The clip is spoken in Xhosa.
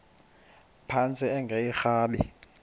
phantsi enge lrabi